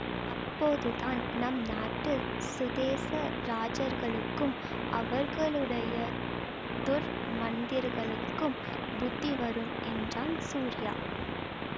அப்போதுதான் நம் நாட்டு சுதேச ராஜர்களுக்கும் அவர்களுடைய துர்மந்திரகளுக்கும் புத்தி வரும் என்றான் சூரியா